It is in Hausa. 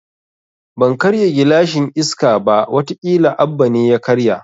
Ban karya gilashin Iska ba, wata kila Abba ne ya karya